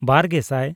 ᱵᱟᱨᱼᱜᱮᱥᱟᱭ